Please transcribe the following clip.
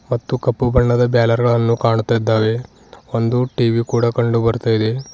ಮತ್ತು ಕಪ್ಪುಬಣ್ಣದ ಬ್ಯಾನರ್ ಗಳನ್ನು ಕಾಣುತ್ತಿದ್ದಾರೆ ಒಂದು ಟಿ_ವಿ ಕೂಡ ಕಂಡು ಬರ್ತಾ ಇದೆ.